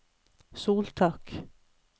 soltak